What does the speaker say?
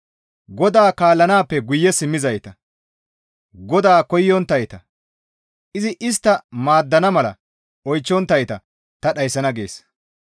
GODAA kaallanaappe guye simmizayta, GODAA koyonttayta, izi istta maaddana mala oychchonttayta ta dhayssana» gees.